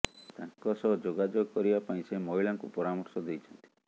ତାଙ୍କ ସହ ଯୋଗାଯୋଗ କରିବା ପାଇଁ ସେ ମହିଳାଙ୍କୁ ପରାମର୍ଶ ଦେଇଛନ୍ତି